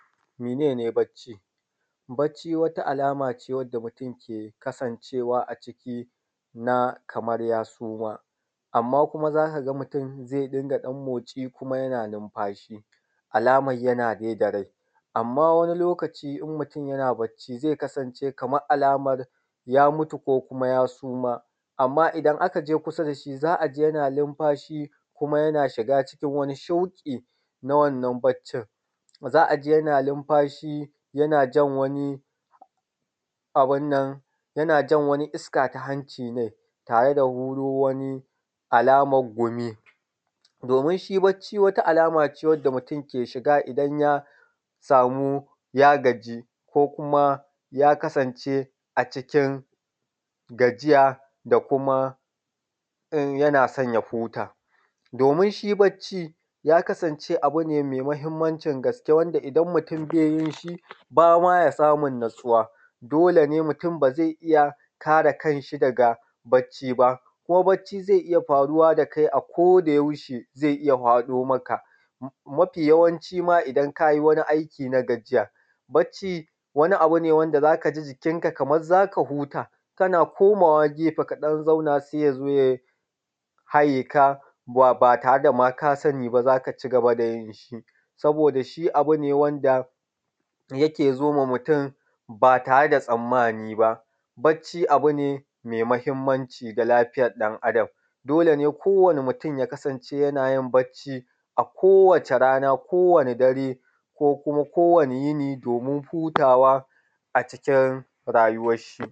Mene ne bacci? Bacci wata alama ce wacce mutum ke kasancewa a ciki na kamar ya suma, amma kuma za ka ga mutum zai rinƙa ɗan motsi kuma yana numfashi, alaman yana dai da rai, amma wani lokacin in mutum yana bacci zai kasance kaman alamar ya mutu ko kuma ya suma. Amman idan aka je kusa da shi za a ji yana numafashi kuma yana shiga wani shauƙi na wannan baccin, za a ji yana numfashi yana jan wani abun nan yana jan wani iska ta hanci ne tare da wani huro alaman gumi, domin shi bacci wata alama ce wanda mutum ke shiga idan ya samu ya gaji ko kuma ya kasance a cikin gajiya da kuma yana so ya huta. Domin shi bacci ya kasance abu ne mai mahimmancin gaske wanda idan mutum ba ya yi ba ma ya samun natsuwa, dole ne mutum ba zai iya kare kan shi daga bacci ba ko bacci zai iya faruwa da kai akodayaushe, zai iya faɗo maka nafi yawanci ma idan ka yi wani aiki na gajiya. Bacci wani abu ne wanda za ka ji jikinka kaman za ka huta kana ɗan komawa gefe ka zauna sai ya zo ya haye ka, ba tare da kama sani ba za ka ci gaba da yin shi saboda shi abu ne wanda yake zo ma mutum ba tare da tsammani b, bacci abu ne mai mahimmanci ga lafiyar ɗan’Adam, dole ne kowani mutum ya kasance yanayin bacci a kowace rana, kowane dare ko kuma kowane yini domin hutawa a cikin rayuwan shi.